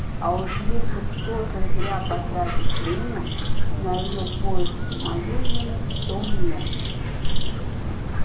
а уж если кто-то зря потратит время на её поиски моей вины в том нет